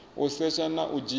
u setsha na u dzhia